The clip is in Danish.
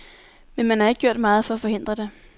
Men man har ikke gjort meget for at forhindre det.